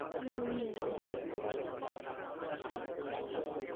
হম হম হম সেটাই,